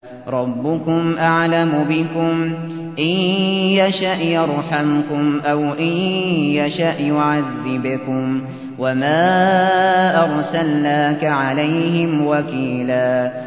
رَّبُّكُمْ أَعْلَمُ بِكُمْ ۖ إِن يَشَأْ يَرْحَمْكُمْ أَوْ إِن يَشَأْ يُعَذِّبْكُمْ ۚ وَمَا أَرْسَلْنَاكَ عَلَيْهِمْ وَكِيلًا